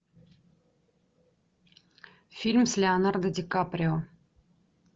фильм с леонардо ди каприо